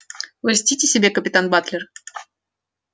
вы льстите себе капитан батлер